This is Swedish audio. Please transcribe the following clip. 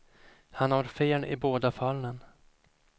Han har fel i båda fallen.